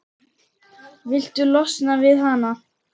Viltu losna við hana?